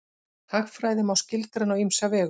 Hagfræði má skilgreina á ýmsa vegu.